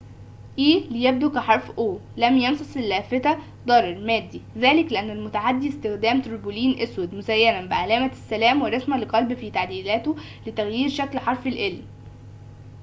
لم يمسس اللافتة ضرر مادي؛ ذلك لأن المتعدي استخدم تربولين أسود مزيناً بعلامة السلام ورسمة لقلب في تعديلاته لتغيير شكل حرف ال"o ليبدو كحرف e